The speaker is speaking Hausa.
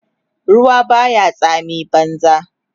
ruwa Baya tsami banza